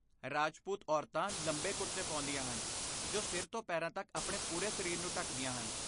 ਰਾਜਪੂਤ ਔਰਤਾਂ ਲੰਬੇ ਕੁੜਤੇ ਪਾਉਂਦੀਆਂ ਹਨ ਜੋ ਸਿਰ ਤੋਂ ਪੈਰਾਂ ਤੱਕ ਆਪਣੇ ਪੂਰੇ ਸਰੀਰ ਨੂੰ ਢੱਕਦੀਆਂ ਹਨ।